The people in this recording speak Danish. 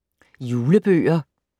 Julebøger